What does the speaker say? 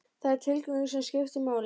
Það er tilgangurinn sem skiptir máli.